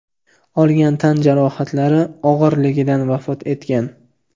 olgan tan jarohatlari og‘irligidan vafot etgan.